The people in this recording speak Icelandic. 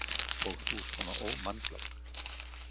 Og þú svona ómannglögg.